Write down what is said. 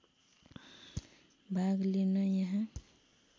भाग लिन यहाँ